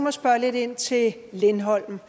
at spørge lidt ind til lindholm